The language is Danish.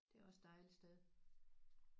Det er også et dejligt sted